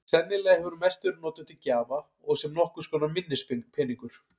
Sennilega hefur hún mest verið notuð til gjafa og sem nokkurs konar minnispeningur.